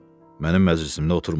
Mənim məclisimdə oturma!